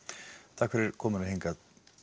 takk fyrir komuna hingað